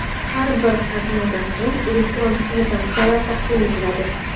Har bir qatnovdan so‘ng elektron kvitansiyalar taqdim etiladi.